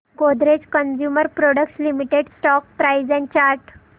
Godrej consumer products limited stock price and chart